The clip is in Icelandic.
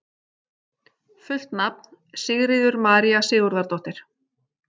Fullt nafn: Sigríður María Sigurðardóttir